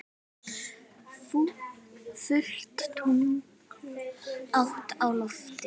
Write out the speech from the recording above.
Fullt tungl hátt á lofti.